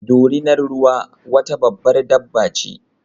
Dorinar ruwa wata babbar dabba ce